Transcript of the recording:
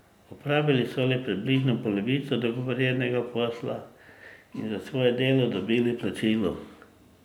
Opravili so le približno polovico dogovorjenega posla in za svoje delo dobili plačilo.